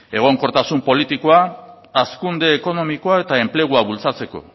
egonkortasun politikoa hazkunde ekonomikoa eta enplegua bultzatzeko